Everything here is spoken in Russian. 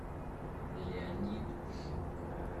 леонид жук